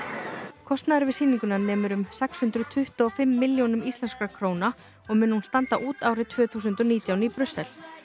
kostnaður við sýninguna nemur um sex hundruð tuttugu og fimm milljónum íslenskra króna og mun hún standa út árið tvö þúsund og nítján í Brussel